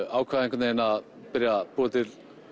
ákvað einhvern vegin að byrja að búa til